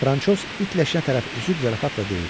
Fransoz it leşinə tərəf üzüb zarafatla deyir: